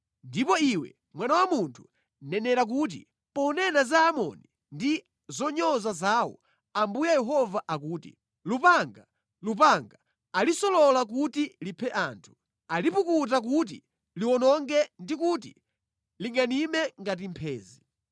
“Ndipo iwe mwana wa munthu, nenera kuti, ponena za Aamoni ndi zonyoza zawo, Ambuye Yehova akuti, “ ‘Lupanga, lupanga, alisolola kuti liphe anthu, alipukuta kuti liwononge ndi kuti lingʼanime ngati mphenzi.